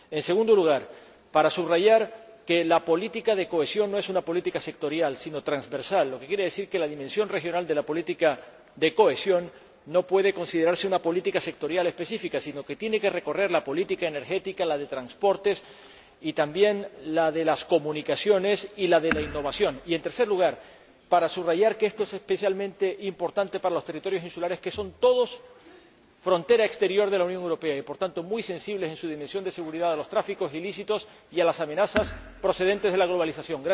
En segundo lugar, para subrayar que la política de cohesión no es una política sectorial, sino transversal, lo que quiere decir que la dimensión regional de la política de cohesión no puede considerarse una política sectorial específica, sino que tiene que recorrer la política energética, la de transportes y también la de las comunicaciones y la de innovación. Y, en tercer lugar, para subrayar que esto es especialmente importante para los territorios insulares, que son todos ellos frontera exterior de la Unión Europea y, por tanto, muy sensibles en su dimensión de seguridad a los tráficos ilícitos y a las amenazas procedentes de la globalización.